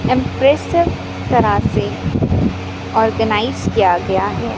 Impressive तरह से organise किया गया है।